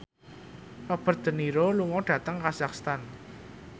Robert de Niro lunga dhateng kazakhstan